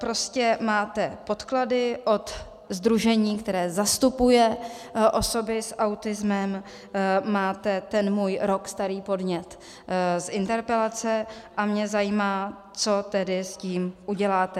Prostě máte podklady od sdružení, které zastupuje osoby s autismem, máte ten můj rok starý podnět z interpelace, a mě zajímá, co tedy s tím uděláte.